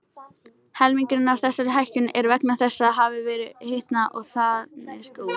Helmingur af þessari hækkun er vegna þess að hafið hefur hitnað og þanist út.